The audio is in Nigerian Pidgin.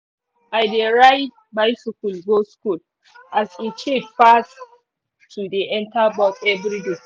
i dey ride bicycle go school as e cheap pass to dey enter bus everyday